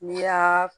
N'i y'a